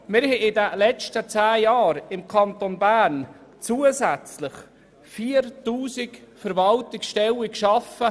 Wir haben in den letzten zehn Jahren im Kanton Bern 4000 zusätzliche Verwaltungsstellen geschaffen.